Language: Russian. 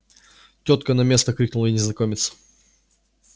тётка на место крикнул ей незнакомец